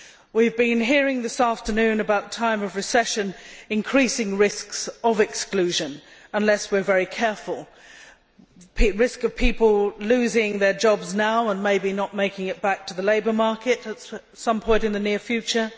We have been hearing this afternoon about a time of recession increasing risks of exclusion unless we are very careful the risks of people now losing their jobs and maybe not making it back to the labour market at some point in the near future